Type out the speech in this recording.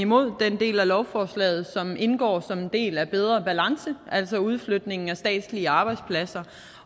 imod den del af lovforslaget som indgår som en del af bedre balance altså udflytningen af statslige arbejdspladser